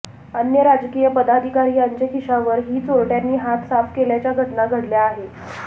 अन्य राजकीय पदाधिकारी यांचे खिशावर हि चोरट्यांनी हात साफ केल्याच्या घटना घडल्या आहे